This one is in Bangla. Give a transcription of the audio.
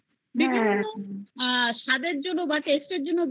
বিভিন্ন রকম স্বাদের জন্য বা taste এর জন্য